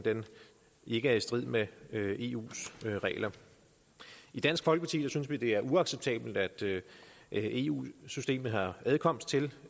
ikke er i strid med eus regler i dansk folkeparti synes vi det er uacceptabelt at eu systemet har adkomst til